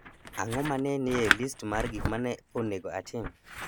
Ang'o ma ne nie list mar gik ma ne onego atim?